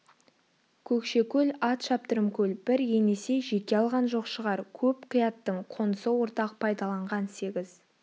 көкшекөл ат шаптырым көл бір енесей жеке алған жоқ шығар көп қияттың қонысы ортақ пайдаланған сегіз